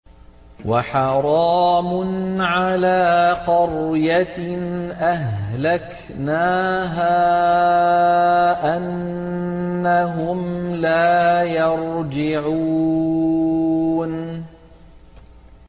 وَحَرَامٌ عَلَىٰ قَرْيَةٍ أَهْلَكْنَاهَا أَنَّهُمْ لَا يَرْجِعُونَ